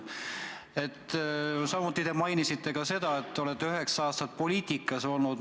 Samuti te mainisite seda, et olete üheksa aastat poliitikas olnud.